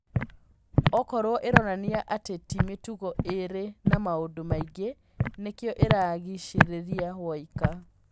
Okorwo ĩronania atĩ ti mĩtugo ĩrĩ na maũndũ maingĩ nĩkĩo ĩragicĩrĩria woika